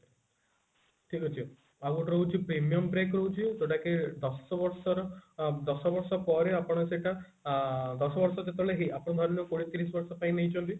ଠିକ ଅଛି ଆଉ ଗୋଟେ ରହୁଛି premium pack ରହୁଛି ଯୋଉଟା କି ଦଶବର୍ଷର ଦଶବର୍ଷ ପରେ ଆପଣ ସେଟା ଆ ଦଶବର୍ଷ ଯେତେବେଳେ ହେଇ ଆପଣ ଧରି ନିଅନ୍ତୁ କୋଡିଏ ତିରିଶି ବର୍ଷ ପାଇଁ ନେଇଛନ୍ତି